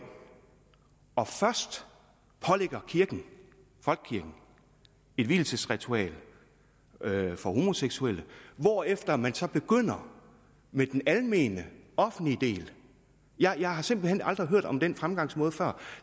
og først pålægger kirken folkekirken et vielsesritual for homoseksuelle hvorefter man så begynder med den almene offentlige del jeg har simpelt hen aldrig hørt om den fremgangsmåde før